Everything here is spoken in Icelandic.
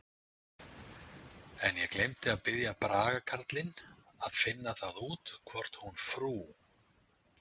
En ég gleymdi að biðja Braga karlinn að finna það út hvort hún frú